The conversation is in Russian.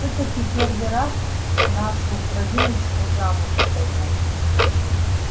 всё-таки первый раз нашу кровиночку замуж отдаём